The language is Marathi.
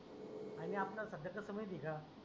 आणि आपल्याला सध्या कसं माहिती आहे का?